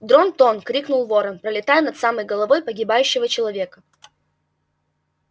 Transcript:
дрон-тон крикнул ворон пролетая над самой головой погибающего человека